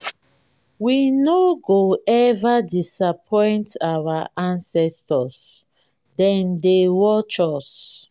we no go eva disappoint our ancestors dem dey watch us.